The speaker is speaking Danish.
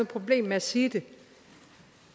problem med at sige det